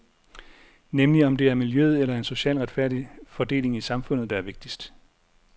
Nemlig om det er miljøet eller en social retfærdig fordeling i samfundet, der er vigtigst.